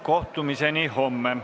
Kohtumiseni homme.